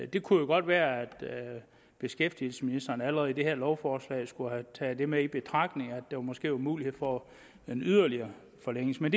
det kunne jo godt være at beskæftigelsesministeren allerede i det her lovforslag skulle have taget med i betragtning at der måske var mulighed for en yderligere forlængelse men